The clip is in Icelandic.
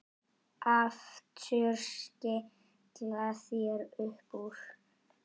Aftur skella þær upp úr.